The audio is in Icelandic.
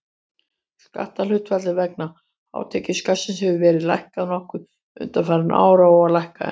Skatthlutfallið vegna hátekjuskattsins hefur verið lækkað nokkuð undanfarin ár og á að lækka enn.